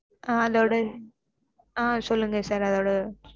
ஆஹ் அதோட ஹான் சொல்லுங்க sir அதோட